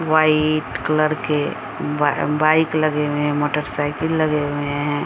White colour के बाई bike लगे हुए हैं मोटरसाईकिल लगे हुए हैं ।